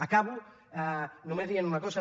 acabo només dient una cosa